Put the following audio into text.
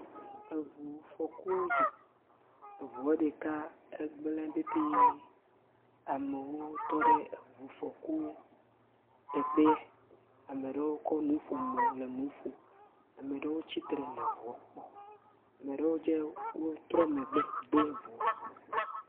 Eŋufɔku dzɔ, eŋua ɖeka gblẽ petee, amewo tɔ ɖe eŋufɔku teƒee ame ɖewo kɔ nuƒomɔ le nu ƒom ame aɖewo tsitre le ŋua kpɔm, ame aɖewo hã trɔ megbe do ŋua.